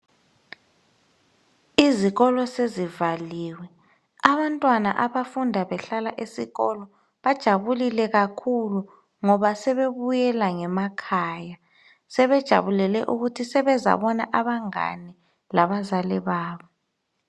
Izikolo sezivaliwe abantwana abafunda behlala esikolo bajabulile kakhulu ngoba sebebuyela ngemakhaya. Sebejabulele ukuthi sebezabona abazali babo kanye labangane.